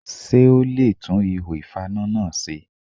Ṣé o le e tún ihò ìfaná náà se?